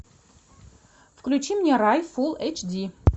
включи мне рай фул эйч ди